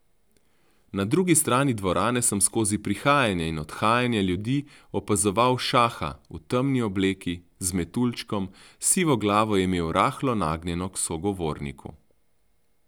Na drugi strani dvorane sem skozi prihajanje in odhajanje ljudi opazoval Šaha, v temni obleki, z metuljčkom, sivo glavo je imel rahlo nagnjeno k sogovorniku.